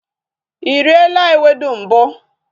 Ị riela ewedu mbụ?